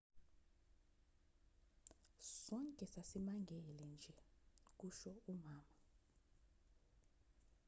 sonke sasimangele nje kusho umama